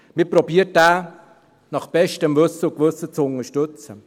Man versucht, ihn nach bestem Wissen und Gewissen zu unterstützen.